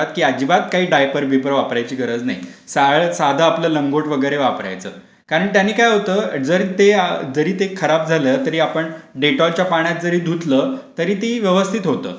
की अजिबात काही डायपर बियपर वापराची गरज नाही. साधा आपलं लंगोट वगैरे वापरायचं. कारण त्याने काय होतं, जरी ते खराब झालं, तरी ते ते आपण डेटॉलच्या पाण्यात जरी धुतला, तरी ते व्यवस्थित होतं.